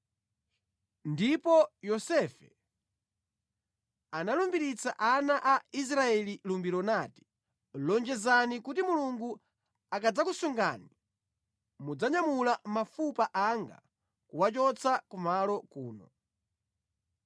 Ndipo Yosefe analumbiritsa ana a Israeli lumbiro nati, “Lonjezani kuti Mulungu akadzakusungani mudzanyamula mafupa anga kuwachotsa ku malo kuno.”